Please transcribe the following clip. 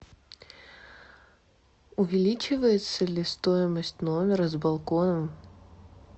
увеличивается ли стоимость номера с балконом